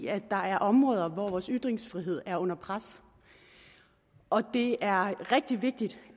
at der er områder hvor vores ytringsfrihed er under pres og det er rigtig vigtigt